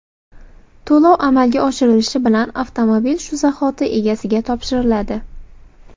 To‘lov amalga oshirilishi bilan avtomobil shu zahoti egasiga topshiriladi.